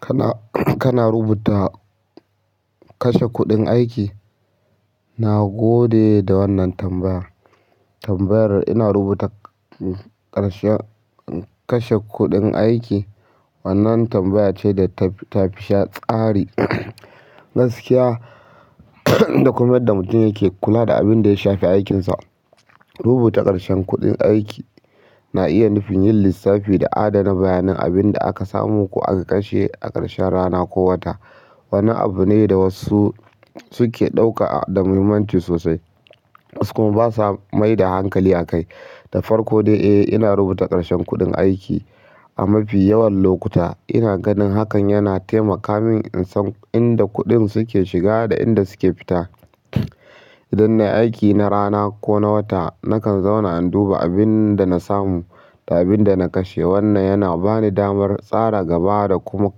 Kana, kana rubuta kashe kuɗin aiki? Na gode da wannan tambaya. Tambayar ina rubuta ƙarshen kashe kuɗin aiki wannan tambaya ce da ta, ta fi sha tsari. Gaskiya da kuma yadda mutum yake kula da abin da ya shafi aikinsa. Rubuta ƙarshen kuɗin aiki na iya nufin yin lissafi da adana bayanan abin da aka samu ko aka kashe a ƙarshen rana ko wata. Wani abu ne da wasu suke ɗauka da muhimmanci sosai, wasu kuma basa mai da hankali akai. Da farko dai, eh ina rubuta ƙarshen kuɗin aiki. A mafi yawan lokuta ina ganin hakan yana taimaka min in san inda kuɗin suke shiga da inda suke fita. Idan na yi aiki na rana ko na wata nakan zauna in duba abin da na samu da abin da na kashe. Wannan yana bani damar tsara gaba da kuma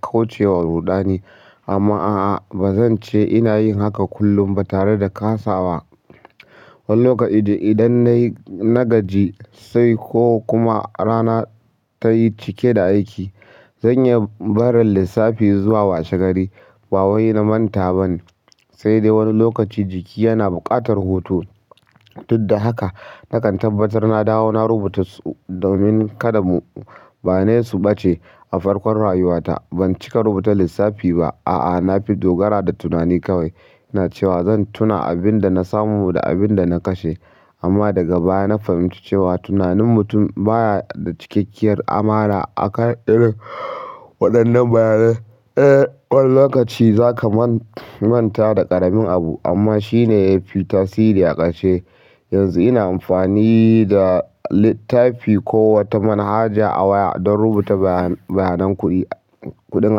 kaucewa ruɗani amma a'a ba zan ce ina yin haka kullum ba tare da kasa wa. Wani lokaci idan nayi nagaji sai ko kuma rana tayi cike da aiki zan iya barin lissafi zuwa washe gari ba wai na manta ban, sai dai wani lokaci jiki yana buƙatar hutu. Dudda haka nakan tabbatar na dawo na rubuta su domin kada mu, bane su ɓace a farkon rayuwata. Ban cika rubuta lissafi ba. A'a, na fi dogara da tunani kawai. Ina cewa zan tuna abin da na samu da abin da na kashe. Amma daga baya na fahimci cewa tunanin mutum baya da cikakkiyar amana a kan irin waɗannan bayanai. Eh wani lokaci zaka man-manta da ƙaramin abu amma shine yafi tasiri a ƙarshe. Yanzu ina amfani da littafi ko wata manhaja a waya don rubuta bayan-bayanan kuɗi, kuɗin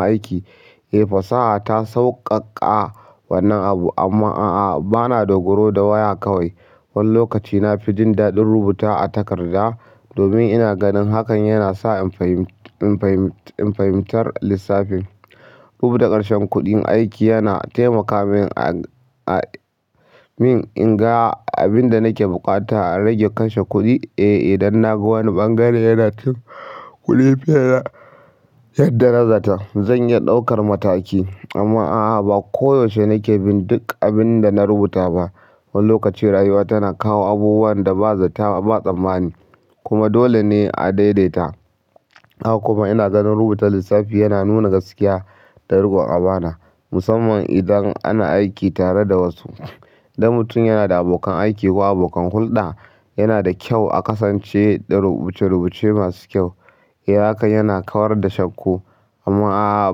aiki. Eh fasaha ta sauƙaƙa wannan abu amma a'a bana dogaro da waya kawai. Wani lokaci na fi jin daɗin rubuta a takarda domin ina ganin hakan yana sa in fahim-in fahim-in fahimtar lissafin. Rubuta ƙarshen kuɗin aiki yana taimaka min a, a min in ga abin da nake bukata a rage kashe kuɗi. Eh, idan naga wani bangare yana cin kuɗi fiye da yadda na zata zan iya ɗaukar mataki. Amma a'a ba koyaushe nake bin duk abin da na rubuta ba. Wani lokaci rayuwa tana kawo abubuwan da ba zata, ba tsammani. Kuma dole ne a daidaita. Haka kuma ina ganin rubutar lissafi yana nuna gaskiya da riƙon ƙabana. Musamman idan ana aiki tare da wasu. Idan mutum yana da abokan aiki ko abokan hulɗa yana da kyau a kasance da rubuce-rubuce masu kyau. Eh hakan yana kawar da shakko. Amma a'a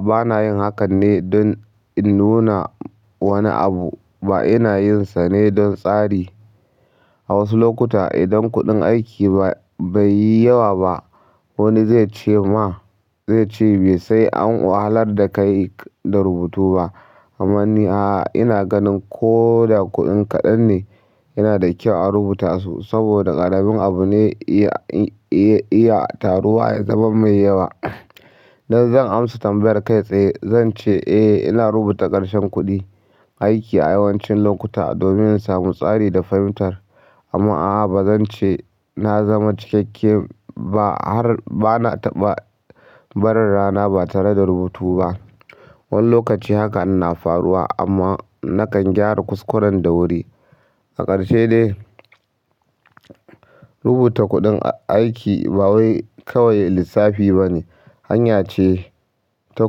bana yin hakan ne don in nuna wani abu. Ba ina yin sa ne don tsari. A wasu lokuta idan kuɗin aiki ba, bai yi yawa ba wani zai ce ma, zai ce "Bai sai an wahalar da kai da rubutu ba." Amma ni a'a ina ganin ko da kuɗin kaɗan ne yana da kyau a rubuta su saboda ƙaramin abu ne iya, iya, iya taruwa ya zama mai yawa. Idan zan amsa tambayar kai tsaye zance eh ina rubuta ƙarshen kuɗi aiki a yawancin lokuta domin in samu tsari da fahimtar amma a'a ba zan ce na zama cikakken ba har bana ba, barin rana ba tare da rubutu ba. Wani lokaci haka na faruwa amma nakan gyara kuskuren da wuri. A ƙarshe dai rubuta kuɗin aiki ba wai kawai lissafi bane, hanya ce ta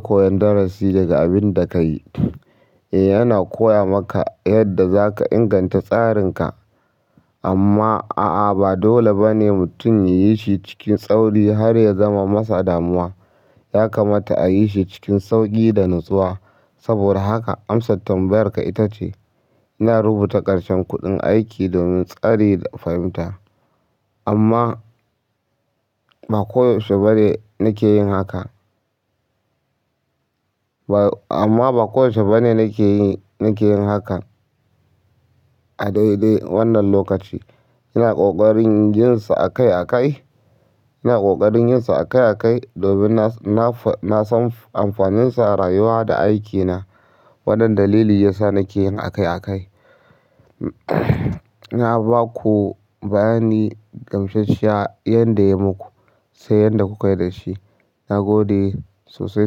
koyon darasi daga abin da ka yi. Eh yana koya maka yadda zaka inganta tsarinka. Amma a'a ba dole bane mutum yayi shi cikin tsauri har ya zama masa damuwa. Yakamata a yi shi cikin sauƙi da natsuwa. Saboda haka amsar tambayarka ita ce ina rubuta ƙarshen kuɗin aiki domin tsari da fahimta amma ba koyaushe bane nake yin haka. Ba amma ba koyaushe bane nake yi, nake yin haka a daidai wannan lokaci. Ina ƙoƙarin yin sa akai akai. Ina ƙoƙarin yin sa akai akai domin na, na, na san amfaninsa a rayuwa da aikina. Waɗannan dalili ya sa nake yin akai akai. Na baku bayani gamsasshiya yadda ya muku sai yadda kukai dashi na gode sosai,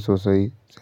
sosai. Tsare.